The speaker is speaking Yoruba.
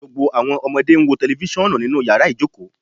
Gbogbo awọn ọmọde n wo tẹlifisiọnu ninu yara ijoko